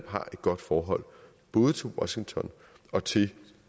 har et godt forhold både til washington og til